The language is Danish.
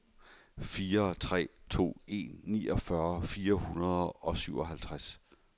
fire tre to en niogfyrre fire hundrede og syvoghalvtreds